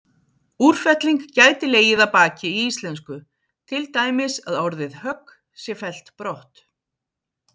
Úrfelling gæti legið að baki í íslensku, til dæmis að orðið högg sé fellt brott.